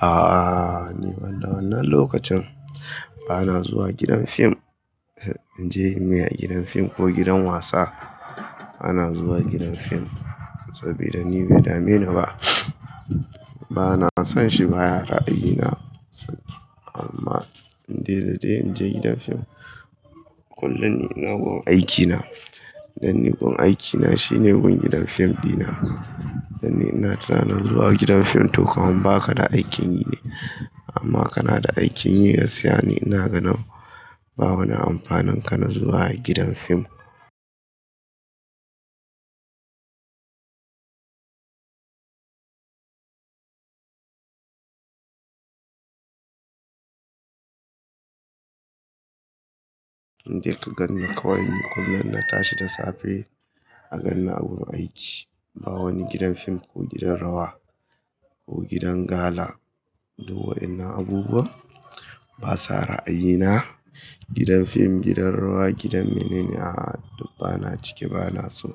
A'a, ni ban da wannan lokacin ba na zuwa gidan fim. In je muyi a gidan fim ko gidan wasa, bana zuwa gidan fim saboda ni bai dame ni ba. Bana son shi baya ra'ayina amma in dai dadde in je gidan fim kullum ina gun aikina dan ni gun aikina shine gun gidan fim dina. Dan ni ina tunanin zuwa gidan fim toh kawai ba ka da aikin yi ne amma kana da aikin yi gaskiya ne ina ganin babu wani amfanin kana zuwa gidan fim. In je ka ganna kawai ni kullum na tashi da safe a ganna a wurin aiki. Ba wani gidan fim ko gidan rawa ko gidan gala. Duk wa'inan abubuwa basa ra'ayina. Gidan fim, gidan rawa, gidan mene ne a duk bana cike bana so.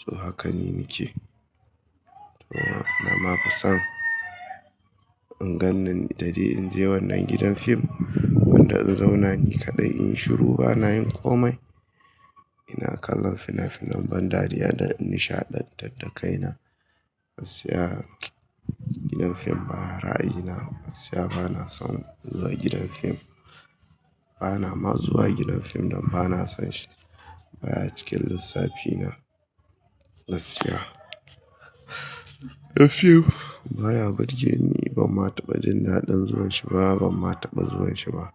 So hakan ni nake. To amma ba san in gannanin in dadde in je wannan gidan fim wanda in na zauna ni kaɗai in shiru bana yin komai. Ina kallon fina-finan ban dariya da nishaɗantar da kaina. Gaskiya gidan fim baya ra'ayina. Gaskiya bana son zuwa gidan fim. Bana ma zuwa gidan fim don bana son shi. Baya cikin lissafina gaskiya. A few, baya burge ni ba ban ma taɓa jin daɗin zuwan shi ba, ban ma taɓa zuwan shi ba.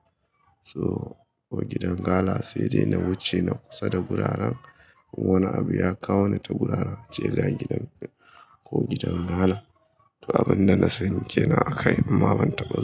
So, ko gidan gala sai dai na wuce na kusa da guraren wani abu ya kawo ni ta guraran, a ce ga gidan, ko gidan gala. To abun da na sani ke nan a kai, amma ban taɓa zuwa.